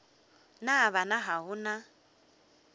na bana ga go na